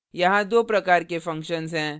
यहाँ दो प्रकार के functions हैं